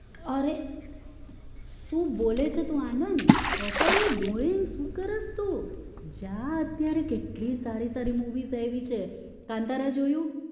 અરે શું બોલે છે તું Anand what are you doing સુ કરસ તું જા અત્યારે કેટલી સારી સારી movie આયવી છે કાન્તારા જોયું?